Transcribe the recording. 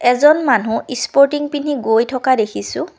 এজন মানুহ স্পৰ্টিং পিন্ধি গৈ থকা দেখিছোঁ।